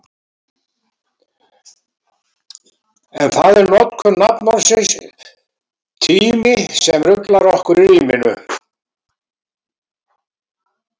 En það er notkun nafnorðsins tími sem ruglar okkur í ríminu.